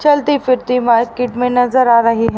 चलती फिरती मार्केट में नजर आ रही--